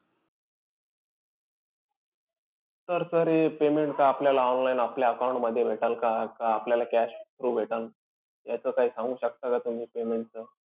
तर sir हे payment का आपल्याला online आपल्या account मध्ये भेटेल का? का आपल्याला cash through भेटन? याचं काई सांगू शकता का तुम्ही payment चं?